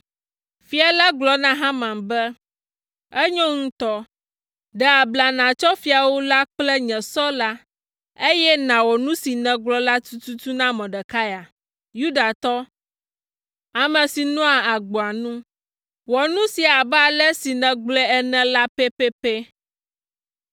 Fia la gblɔ na Haman be, “Enyo ŋutɔ! Ɖe abla nàtsɔ fiawu la kple nye sɔ la, eye nàwɔ nu si nègblɔ la tututu na Mordekai, Yudatɔ, ame si nɔa agboa nu. Wɔ nu sia abe ale si nègblɔe ene la pɛpɛpɛ!”